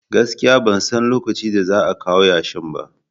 Gaskiya ban san lokacin da za a kawo yashin ba